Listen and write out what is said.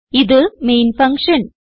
ഇത് main function